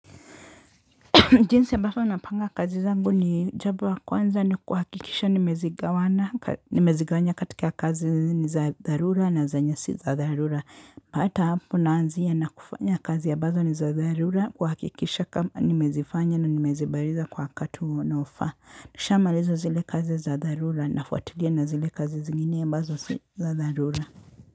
Jinsi ambavyo napanga kazi zangu ni jambo la kwanza ni kuhakikisha nimezigawanya katika kazi ni za dharura na zenye si za dharura. Hata hapo naanzia na kufanya kazi ambazo ni za dharura kuhakikisha kama nimezifanya na nimezimaliza kwa wakati unaofa. Nisha maliza zile kazi za dharura nafuatilia na zile kazi zingine ambazo si za dharura.